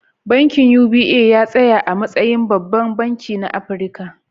Bankin UBA ya tsaya a matsayin babban banki na Afirka.